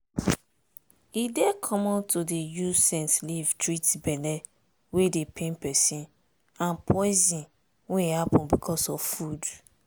e dey common to dey use scent leaf treat belle wey dey pain peson and poison wey happen becos of food.